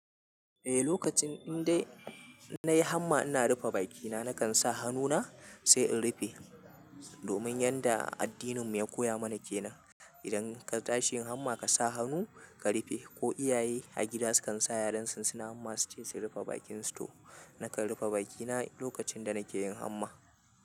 Eh, lokacin indai nayi hamma ina rufe bakina nakan sa hannuna sai in rufe. Domin yanda addinin mu ya koya mana kenan. Idan ka tashi yin hamma ka sa hannu ka rufe, ko iyaye a gida sukan sa yaran su suna hamma suce su rufe bakin su, to nakan rufe bakina lokacin da nake yin hamma.